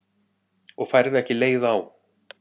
Og færð ekki leið á?